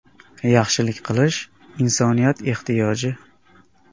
“Yaxshilik qilish insoniyat ehtiyoji.